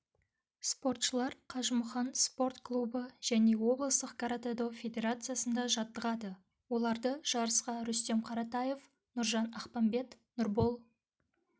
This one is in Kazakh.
спортшылар қажымұқан спорт клубы және облыстық каратэ-до федерациясында жаттығады оларды жарысқа рүстем қараев нұржан ақпанбет нұрбол